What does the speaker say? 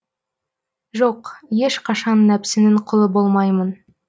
жоқ ешқашан нәпсінің құлы болмаймын